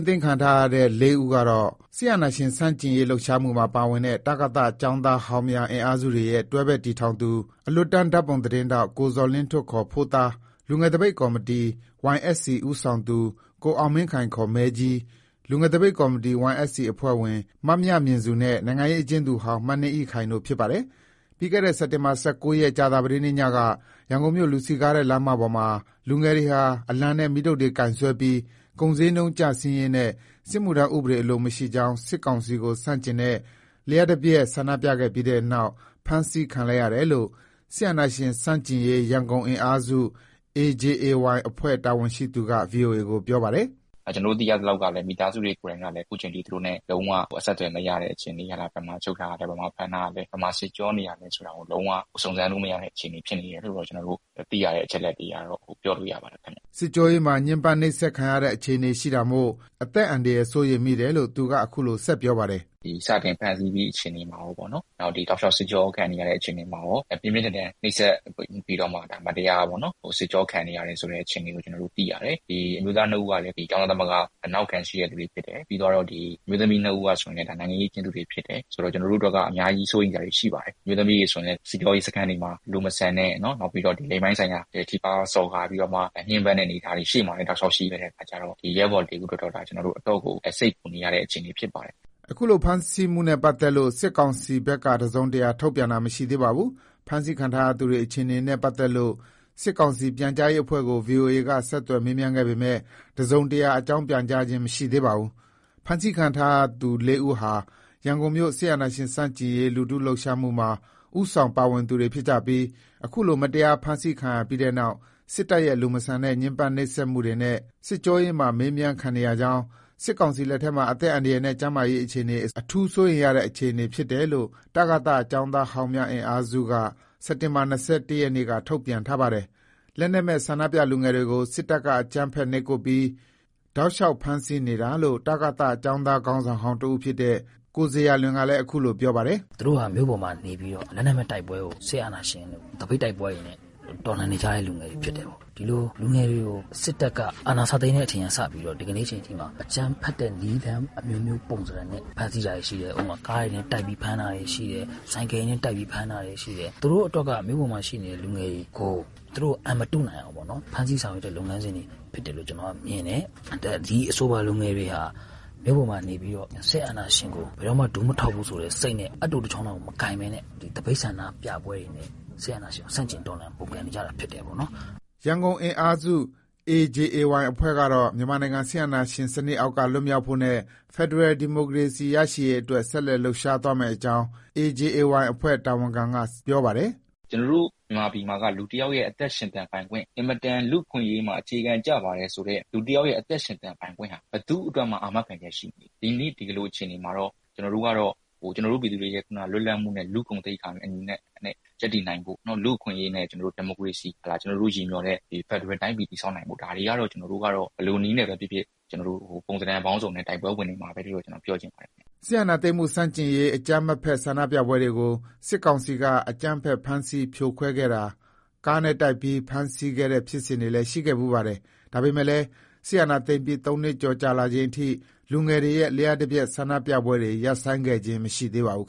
းသိမ်းခံထားရတဲ့သူ ၄ ဦးကတော့ စစ်အာဏာရှင်ဆန့်ကျင်ရေး လှုပ်ရှားမှုမှာ ပါဝင်တဲ့ တကသ ကျောင်းသားဟောင်းများ အင်အားစုရဲ့ တွဲဖက်တည်ထောင်သူ၊ အလွတ်တန်း ဓါတ်ပုံသတင်းထောက် ကိုဇော်လင်းထွဋ် ဖိုးသား၊ လူငယ်သပိတ်ကော်မတီ ဦးဆောင်သူ ကိုအောင်မင်းခိုင် မဲကြီး၊ လူငယ်သပိတ်ကော်မတီ အဖွဲ့ဝင် မမြမဉ္စူ နဲ့ နိုင်ငံရေးအကျဉ်းသူဟောင်း မနှင်းအိခိုင် တို့ ဖြစ်ပါတယ်။ ပြီးခဲ့တဲ့ စက်တင်ဘာ ၁၉ ရက် ကြာသပတေးနေ့ညက ရန်ကုန်မြို့ လူစည်ကားတဲ့ လမ်းမပေါ်မှာလူငယ်တွေဟာ အလံနဲ့ မီးတုတ်တွေ ကိုင်စွဲပြီး ကုန်ဈေးနှုန်းကျဆင်းရေးနဲ့ စစ်မှုထမ်းဥပဒေ အလိုမရှိကြောင်း စစ်ကောင်စီကို ဆန့်ကျင်တဲ့ လျှပ်တပြတ်ဆန္ဒပြခဲ့ပြီးနောက် ဖမ်းဆီး ခံလိုက်ရတယ်လို့ AJAY အဖွဲ့ တာ၀န်ရှိသူက ဗွီအိုအေကို ပြောပါတယ်။ “ကျနော်တို့ သိရသလောက်ကလည်း မိသားစုတွေ ကိုယ်တိုင်ကလည်း အခုချိန်ထိ သူတို့နဲ့ လုံးဝအဆက်အသွယ်မရတဲ့ အခြေအနေ၊ သူတို့ကို ဘယ်မှာချုပ်ထားတာလဲ ဘယ်မှာဖမ်းထားတာလဲ ဘယ်မှာ စစ်ကြောနေတာလဲဆိုတာကို လုံးဝ စုံစမ်းလို့မရသေးတဲ့ အခြေအနေ ဖြစ်နေတယ်လို့တော့ ကျနော်တို့သိရတဲ့ အချက်အလက်တွေကတော့ ပြောလို့ရပါတယ်ခင်ဗျ။” စစ်ကြောရေးမှာ ညှင်းပန်းနှိပ်စက်ခံနေရတဲ့ အခြေအနေရှိတာမို့ အသက်အန္တရာယ် စိုးရိမ်မိတယ်လို့ သူက အခုလို ဆက်ပြောပါတယ်။ “စတင်ဖမ်းဆီးပြီး အခြေအနေမှာရောပေါ့နော်၊ ဒီ တောက်လျှောက် စစ်ကြောခံနေရတဲ့ အခြေအနေမှာရော ပြင်းပြင်းထန်ထန် နှိပ်စက်ပြီးတော့မှ မတရားပေါ့နော်၊ စစ်ကြောခံနေရတယ်ဆိုတဲ့ အခြေအနေကို ကျနော်တို့ သိရတယ်။ အမျိုးသား ၂ဦးကလည်း ကျောင်းသားသမဂ္ဂ နောက်ခံရှိတဲ့သူတွေ ဖြစ်တယ်။ ပြီးတော့ ဒီအမျိုးသမီး ၂ဦးကဆိုရင် ဒါနိုင်ငံရေး အကျဉ်းသူတွေဖြစ်တယ်။ ဆိုတော့ ကျနော်တို့ အတွက်က အများကြီး စိုးရိမ်စရာတွေ ရှိပါတယ်။ အမျိုးသမီးတွေဆိုရင်လည်း စစ်ကြောရေးစခန်းတွေမှာ လူမဆန်တဲ့၊ နောက်ပြီးတော့ ဒီလိင်ပိုင်းဆိုင်ရာ ထိပါးမှုစော်ကားပြီးတော့မှ ညှင်းပန်းတဲ့အနေအထားတွေ ရှေ့မှာလည်း တောက်လျှောက် ရှိတဲ့အခါကျတော့ ဒီရဲဘော်တွေအတွက်က ကျနော်တို့ အတော့်ကို စိတ်ပူနေရတဲ့ အခြေအနေဖြစ်ပါတယ်။” အခုလို ဖမ်းဆီးထားမှုနဲ့ပတ်သက်လို့ စစ်ကောင်စီဘက် တစုံတရာထုတ်ပြန်တာ မရှိသေးပါဘူး။ ဖမ်းဆီးခံထားရသူတွေ အခြေအနေနဲ့ ပတ်သက်လို့ စစ်ကောင်စီပြန်ကြားရေးအဖွဲ့ကို ဗွီအိုအေက ဆက်သွယ်မေးမြန်းထားပေမဲ့ တစုံတရာ အကြောင်း ပြန်ကြားခြင်းမရှိသေးပါဘူး။ ဖမ်းဆီးခံရသူတဲ့ ၄ ဦးဟာ ရန်ကုန်မြို့ စစ်အာဏာရှင်ဆန့်ကျင်ရေး လူထုလှုပ်ရှားမှုမှာ ဦးဆောင် ပါဝင်နေသူတွေဖြစ်ကြပြီး အခုလို မတရား ဖမ်းဆီးခံရပြီးနောက် စစ်တပ်ရဲ့ လူမဆန်တဲ့ ညှင်းပန်းနှိပ်စက်မှုတွေနဲ့ စစ်ကြောရေးမှာ မေးမြန်းခံနေကြောင်း၊ စစ်ကောင်စီ လက်ထဲမှာ အသက်အန္တရာယ်နဲ့ ကျန်းမာရေး အခြေအနေကို အထူးစိုးရိမ်ရတဲ့ အခြေအနေဖြစ်တယ်လို့လည်း တကသ ကျောင်းသားဟောင်းများ အင်အားစု က စက်တင်ဘာ ၂၁ နေ့က ထုတ်ပြန်ထားပါတယ်။ လက်နက်မဲ့တဲ့ ဆန္ဒပြလူငယ်တွေကို စစ်တပ်က အကြမ်းဖက်နှိပ်ကွပ်ပြီး တောက်လျှောက် ဖမ်းဆီးနေတာလို့ တကသ ကျောင်းသားခေါင်းဆောင်ဟောင်း တဦးဖြစ်တဲ့ ကိုဇေယျာလွင်ကလည်း အခုလို ပြောပါတယ်။ “သူတို့ဟာ မြို့ပေါ်မှာနေပြီးတော့ လက်နက်မဲ့တိုက်ပွဲကို စစ်အာဏာရှင်တွေကို သပိတ်တိုက်ပွဲတွေနဲ့ တော်လှန်နေကြတဲ့ လူငယ်တွေ ဖြစ်တယ်ပေ့ါ။ ဒီလိုလူငယ်တွေကို စစ်တပ်က အာဏာစသိမ်းတဲ့အချိန်က စပြီးတော့ ဒီကနေ့အချိန်မှာ အကြမ်းဖက်တဲ့ နည်းလမ်းအမျိုးမျိုး ပုံသဏ္ဌာန်နဲ့ ဖမ်းဆီးတာတွေရှိတယ်။ ဥပမာ ကားတွေနဲ့ တိုက်ပြီးဖမ်းတာတွေရှိတယ်။ ဆိုင်ကယ်နဲ့ တိုက်ပြီး ဖမ်းတာတွေ ရှိတယ်။ သူတို့အတွက်က မြို့ပေါ်မှာ ရှိနေတဲ့ လူငယ်တွေကို သူတို့ အန်မတုနိုင်အောင်ပေါ့နော်။ ဖမ်းဆီးဆောင်ရွက်တဲ့ လုပ်ငန်းစဉ်တွေ ဖြစ်တယ်လို့ ကျနော်တို့ မြင်တယ်။ ဒီအဆိုပါလူငယ်တွေဟာ မြို့ပေါ်မှာ နေပြီးတော့ စစ်အာဏာရှင်ကို ဘယ်တော့မှ ဒူမထောက်ဘူးဆိုတဲ့ စိတ်နဲ့ အပ်တိုတစ်ချောင်းလောက် မကိုင်ပဲနဲ့ သပိတ်ဆန္ဒပြပွဲတွေနဲ့ စစ်အာဏာရှင်ကို ဆန့်ကျင်တော်လှန် ပုန်းကန်နေကြတာဖြစ်တယ်ပေါ့နော်။” ရန်ကုန်အင်အားစု AJAY အဖွဲ့ကတော့ မြန်မာနိုင်ငံ စစ်အာဏာရှင်စနစ်အောက်က လွတ်မြောက်ဖို့နဲ့ ဖက်ဒရယ် ဒီမိုကရေစီရေးအတွက် ဆက်လက် လှုပ်ရှားသွားမယ့်အကြောင်း AJAY အဖွဲ့ တာ၀န်ခံက ပြောပါတယ်။ “ကျနော်တို့ မြန်မာပြည်မှာက လူတစ်ယောက်ရဲ့ အသက်ရှင်သန်ပိုင်ခွင့်၊ အင်မတန် လူ့အခွင့်အရေးမှာ အခြေခံကျပါတယ်ဆိုတဲ့ လူတစ်ယောက်ရဲ့ အသက်ရှင်သန်ခွင့်ဟာ ဘယ်သူ့အတွက်မှ အာမခံချက် ရှိမနေဘူး။ ဒီနေ့ ဒီလို အခြေအနေမှာတော့ ကျနော်တို့ကတော့ ကျနော်တို့ ပြည်သူတွေ ခုနလွတ်လပ်မှုနဲ့ လူ့ဂုဏ်သိက္ခာနဲ့အညီနဲ့ ရပ်တည်နိုင်ဖို့ လူ့အခွင့်အရေးနဲ့ ကျနော်တို့ ဒီမိုကရေစီ ဟုတ်လား၊ ကျနော်တို့ ရည်မျှော်တဲ့ ဖက်ဒရယ်တိုင်းပြည် တည်ဆောက်နိုင်ဖို့ ဒါတွေကတော့ ကျနော်ကတော့ ဘယ်လိုနည်းနဲ့ ဖြစ်ဖြစ်ကျနော်တို့ ပုံသဏ္ဌာန်အပေါင်းစုံနဲ့ တိုက်ပွဲဝင်နေမှာပဲလို့ ကျနော် ပြောချင်ပါတယ်ခင်ဗျ။” စစ်အာဏာသိမ်းမှု ဆန့်ကျင်ရေး အကြမ်းမဖက်ဆန္ဒပြပွဲတွေကို စစ်ကောင်စီက အကြမ်းဖက် ဖမ်းဆီး ပစ်ခတ်ဖြိုခွဲတာ၊ ကားနဲ့ တိုက်ပြီး ဖမ်းဆီးခဲ့တဲ့ ဖြစ်စဉ်တွေလည်း ရှိခဲ့ဖူးပါတယ်။ ဒါပေမဲ့လည်း စစ်အာဏာသိမ်းပြီး သုံးနှစ်ကျော်ကြာလာချိန်ထိ လူငယ်တွေရဲ့ လျှပ်တပြတ် ဆန္ဒပြပွဲတွေ ရပ်ဆိုင်းခဲ့ခြင်း မရှိသေးပါဘူး